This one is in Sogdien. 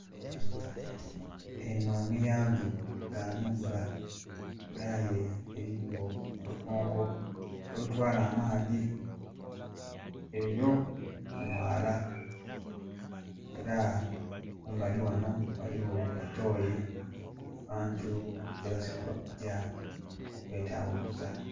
Enho muyandhu gha nhumba nga aye eriyo olukonko olutwala amaadhi eyoo mumwala era kumbali ghanho ghaligjo etoyi abantu gye basobola okujja okwetaghulusa.